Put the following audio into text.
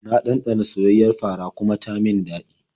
Na ɗanɗana soyayyiyar fara kuma ta min daɗi.